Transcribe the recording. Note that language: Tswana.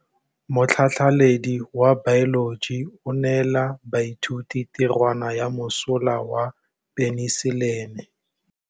Motlhatlhaledi wa baeloji o neela baithuti tirwana ya mosola wa peniselene.